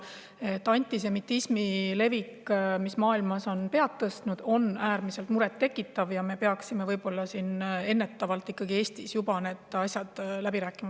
See, et antisemitism on maailmas pead tõstnud ja levib, on äärmiselt muret tekitav ja me peaksime siin Eestis võib-olla ennetavalt need asjad ikkagi läbi rääkima.